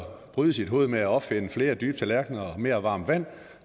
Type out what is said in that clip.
og bryde sit hoved med at opfinde flere dybe tallerkener og mere varmt vand